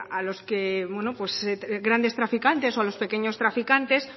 a los grandes traficantes o a los pequeños traficantes